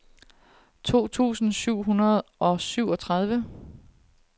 to tusind syv hundrede og syvogtredive